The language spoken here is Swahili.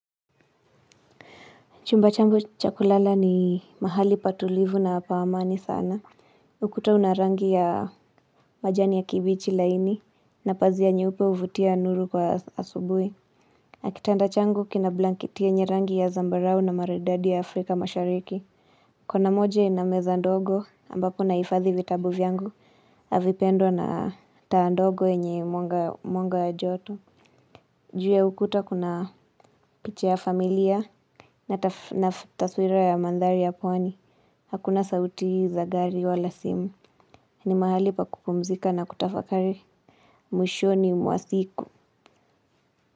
Chumba changu cha kulala ni mahali patulivu na pa amani sana. Ukuta una rangi ya majani ya kibichi laini. Na pazia nyeupe huvutia nuru kwa asubuhi. Na kitanda changu kina blanketi yenye rangi ya zambarao na maridadi ya afrika mashariki. Kona moja ina meza ndogo ambapo nahifadhi vitabu vyangu na vipendwa na taa ndogo yenye mwanga wa joto. Juu ya ukuta kuna picha ya familia na taswira ya mandhari ya pwani. Hakuna sauti za gari wala simu. Ni mahali pa kupumzika na kutafakari mwishoni mwa siku.